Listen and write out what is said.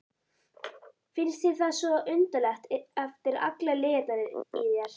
Finnst þér það svo undarlegt eftir allar lygarnar í þér?